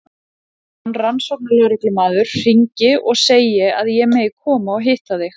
Stefán rannsóknarlögreglumaður hringi og segi að ég megi koma og hitta þig.